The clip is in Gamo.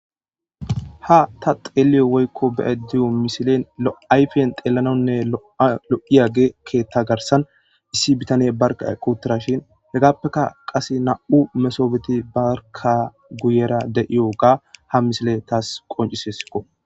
ha ta xeeliyo woykko be7ediyo misilen loayfen xeelanonne lo7iyagekke ta garsan issi bitane barka quttara shin hegaappeka qase na7u mesobeti barka guyera de7iyo ga ha misile taas qoncisesikko